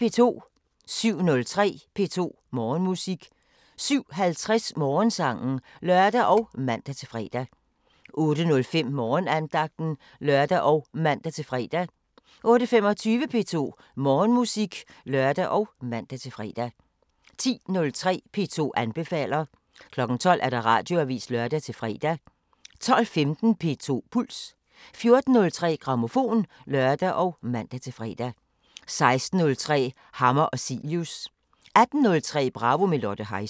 07:03: P2 Morgenmusik 07:50: Morgensangen (lør og man-fre) 08:05: Morgenandagten (lør og man-fre) 08:25: P2 Morgenmusik (lør og man-fre) 10:03: P2 anbefaler 12:00: Radioavisen (lør-fre) 12:15: P2 Puls 14:03: Grammofon (lør og man-fre) 16:03: Hammer og Cilius 18:03: Bravo – med Lotte Heise